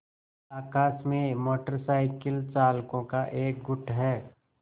आकाश में motorcycle चालकों का एक गुट है